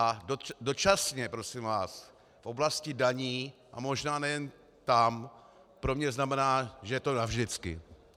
A dočasně, prosím vás, v oblasti daní, a možná nejen tam, pro mě znamená, že je to navždycky.